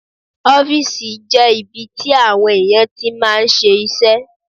Ọ́fìsì jẹ́ ibi tí àwọn èèyàn tí máa ń ṣe iṣẹ́